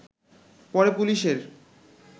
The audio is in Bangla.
পরে পুলিশের